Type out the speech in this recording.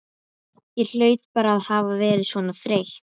Ég hlaut bara að hafa verið svona þreytt.